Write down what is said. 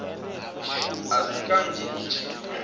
a si kanzhi i tshi